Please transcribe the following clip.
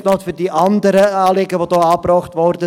Nun noch zu den anderen Anliegen, die hier angebracht wurden.